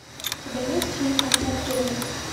у тебя есть фильм отряд героев